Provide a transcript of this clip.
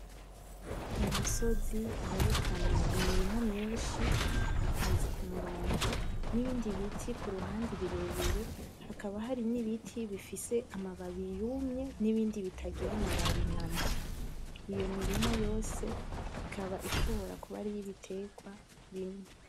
Umusozi werekana imirima myinshi ipanze k' umurongo n' ibindi ibiti kuruhande birebire hakaba n' ibiti bifisise amababi yumye n' ibindi bitagira amababi namba. iyo mirima yose ikaba ishobora kuba ariyi biterwa bimwe.